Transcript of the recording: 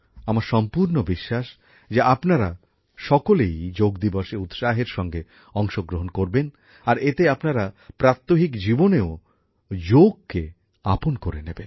আমার সম্পূর্ণ বিশ্বাস যে আপনারা সকলেই যোগ দিবসের কর্মসূচীতে উৎসাহের সঙ্গে অংশগ্রহণ করবেন আর এতে আপনারা প্রাত্যহিক জীবনেও যোগকে আপন করে নেবেন